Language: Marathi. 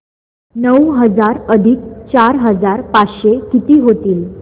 नऊ हजार अधिक चार हजार पाचशे किती होतील